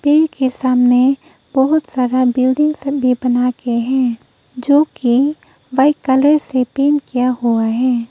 एक ही सामने बहोत सारा बिल्डिंग से भी बना के हैं जो कि व्हाइट कलर से पेंट किया हुआ है।